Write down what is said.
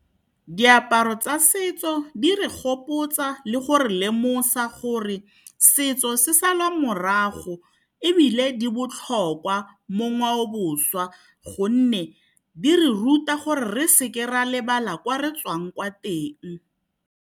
Diaparo tsa setso di re gopotsa le gore lemosa gore setso se salwa morago. Ebile di botlhokwa mo ngwaoboswa gonne di re ruta gore re seke ra lebala ko re tswang kwa teng.